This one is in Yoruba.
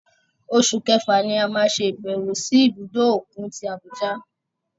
Oṣù Kẹfà ni a máa ṣe ìbẹ̀wò sí ibùdó òkun tí Abuja.